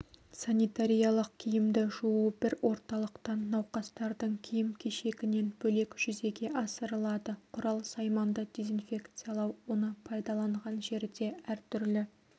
санитариялық киімді жуу бір орталықтан науқастардың киім-кешегінен бөлек жүзеге асырылады құрал-сайманды дезинфекциялау оны пайдаланған жерде әртүрлі